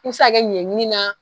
I bi se ka kɛ ɲɛɲɛkini na